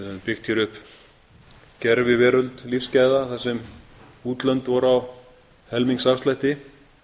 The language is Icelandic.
byggt hér upp gerviveröld lífsgæða þar sem útlönd voru á helmings afslætti